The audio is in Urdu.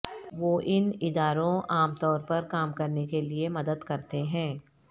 وہ ان اداروں عام طور پر کام کرنے کے لئے مدد کرتے ہیں